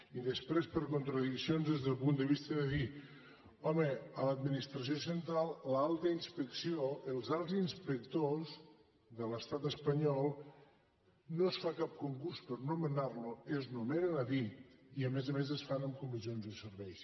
i després per contradiccions des del punt de vista de dir home a l’administració central l’alta inspecció els alts inspectors de l’estat espanyol no es fa cap concurs per nomenar los es nomenen a dit i a més a més es fa amb comissions de serveis